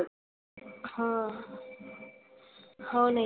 हांं. हो नाही.